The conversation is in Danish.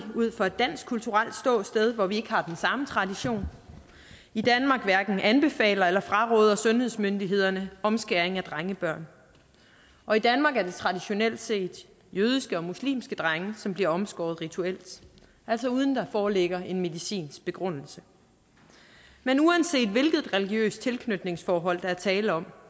ud fra et dansk kulturelt ståsted hvor vi ikke har den samme tradition i danmark hverken anbefaler eller fraråder sundhedsmyndighederne omskæring af drengebørn og i danmark er det traditionelt set jødiske og muslimske drenge som bliver omskåret rituelt altså uden at der foreligger en medicinsk begrundelse men uanset hvilket religiøst tilknytningsforhold der er tale om